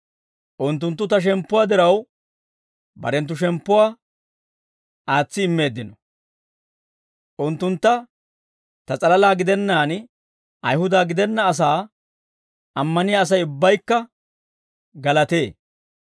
Unttunttu ta shemppuwaa diraw, barenttu shemppuwaa aatsi immeeddino. Unttuntta ta s'alalaa gidennaan, Ayihuda gidenna asaa ammaniyaa Asay ubbaykka galatee.